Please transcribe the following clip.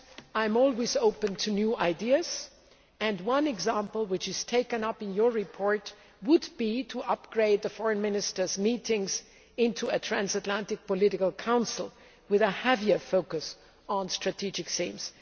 I am always open to new ideas, and one example, which is taken up in your report, would be to upgrade the Foreign Ministers' meetings into a Transatlantic Political Council with a heavier focus on strategic themes.